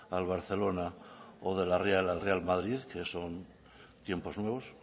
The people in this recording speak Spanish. al barcelona o de la real al real madrid que son tiempos nuevos